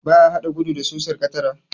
Ba a haɗa gudu da susar katara.